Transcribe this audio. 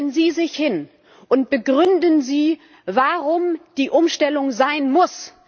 Stellen Sie sich hin und begründen Sie, warum die Umstellung sein muss.